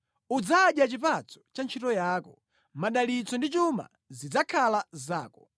Udzadya chipatso cha ntchito yako; madalitso ndi chuma zidzakhala zako.